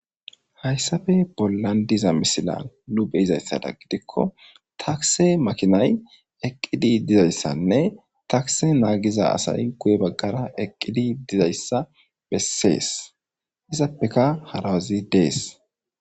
Hayssafe bollan diza misila nu beyizayssada gidikko takse makinay eqqidi dizayssanne takse naagiza asay guye baggara eqqidi dizayssa bessees isappeka harawazi dees.